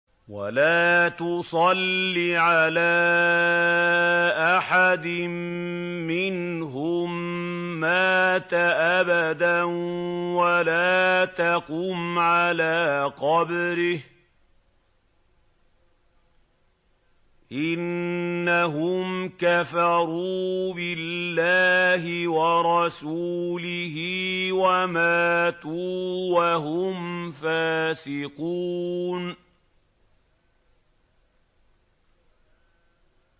وَلَا تُصَلِّ عَلَىٰ أَحَدٍ مِّنْهُم مَّاتَ أَبَدًا وَلَا تَقُمْ عَلَىٰ قَبْرِهِ ۖ إِنَّهُمْ كَفَرُوا بِاللَّهِ وَرَسُولِهِ وَمَاتُوا وَهُمْ فَاسِقُونَ